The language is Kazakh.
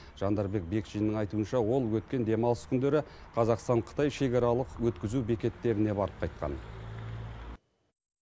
жандарбек бекшиннің айтуынша ол өткен демалыс күндері қазақстан қытай шекаралық өткізу бекеттеріне барып қайтқан